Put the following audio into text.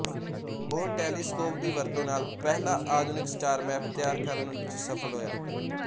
ਉਹ ਟੈਲੀਸਕੋਪ ਦੀ ਵਰਤੋਂ ਨਾਲ ਪਹਿਲਾ ਆਧੁਨਿਕ ਸਟਾਰਮੈਪ ਤਿਆਰ ਕਰਨ ਚ ਸਫਲ ਹੋਇਆ